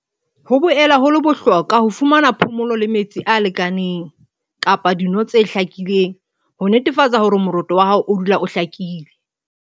Ho boela ho le bohlokwa ho fumana phomolo le metsi a lekaneng kapa dino tse hlakileng ho netefatsa hore moroto wa hao o dula o hlakile.